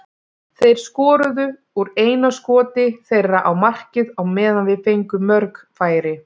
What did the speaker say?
Þeir skoruðu úr eina skoti þeirra á markið á meðan við fengum mörg færi.